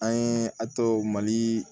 An ye a tɔ mali